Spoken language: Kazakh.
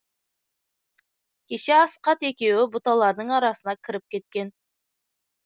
кеше асқат екеуі бұталардың арасына кіріп кеткен